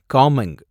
Kameng